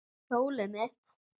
Hjólið mitt!